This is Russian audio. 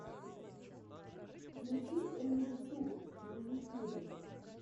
включи эмили туб на ютьюбе